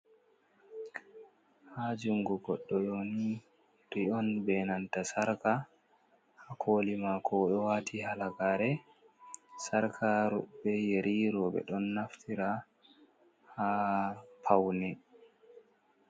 Ha jungo goddo yeri on be nanta sarka ha koli mako, o ɗo wati halagare, sarkaru be yeriro ɓe ɗon naftira ha paune.